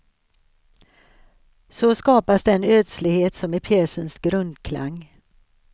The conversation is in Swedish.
Så skapas den ödslighet som är pjäsens grundklang.